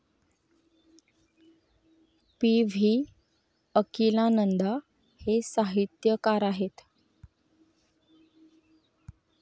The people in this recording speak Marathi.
पी.व्ही. अकिलानंदां हे साहित्यकार आहेत.